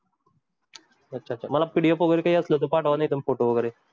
अच्छा अच्छा PDF वगैरे काही असलं तर पाठवा नाहीतर photo वगैरे.